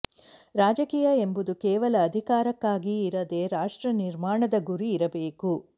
ರಾಜಕೀಯ ಎಂಬುದು ಕೇವಲ ಅಧಿಕಾರಕ್ಕಾಗಿ ಇರದೆ ರಾಷ್ಟ್ರ ನಿರ್ಮಾಣದ ಗುರಿ ಇರಬೇಕು